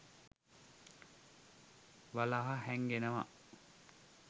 වලහා හැංගෙනවා.